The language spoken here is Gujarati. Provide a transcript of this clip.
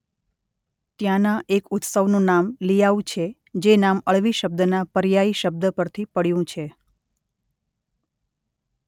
ત્યાંના એક ઉત્સવનું નામ લિઆઉ છે જે નામ અળવી શબ્દના પર્યાયી શબ્દ પરથી પડ્યું છે.